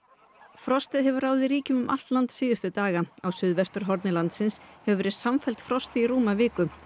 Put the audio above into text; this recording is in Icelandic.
frostið hefur ráðið ríkjum um allt land síðustu daga á suðvesturhorni landsins hefur verið samfellt frost í rúma viku